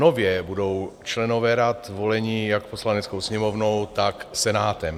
Nově budou členové rad voleni jak Poslaneckou sněmovnou, tak Senátem.